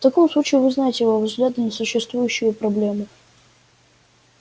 в таком случае вы знаете его взгляды на существующую проблему